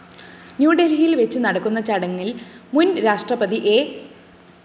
ന്യൂദല്‍ഹിയില്‍വെച്ചു നടക്കുന്ന ചടങ്ങില്‍ മുന്‍ രാഷ്ട്രപതി എ